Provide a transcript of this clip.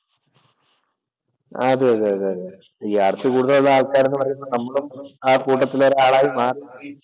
അതെതെതെ ഈ ആർത്തി കൂടുതലുള്ള ആൾക്കാർ എന്ന് പറയുന്നത് നമ്മളും ആ കൂട്ടത്തിലുള്ള ഒരാളായി മാറി